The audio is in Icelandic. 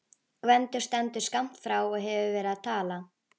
Gvendur stendur skammt frá og hefur verið að tala.